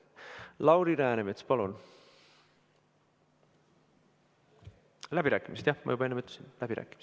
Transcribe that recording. Lauri Läänemets, palun!